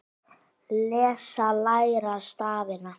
Lesa- læra stafina